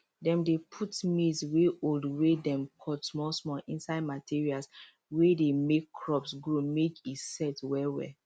dem dey put maize wey old wey dem cut small small inside materials wey dey make crops grow make e set well well